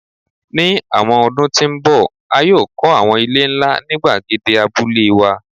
Ni awọn ọdun ti n bọ a yoo kọ awọn ile nla ni gbagede Abule wa